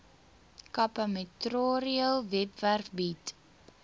capemetrorail webwerf bied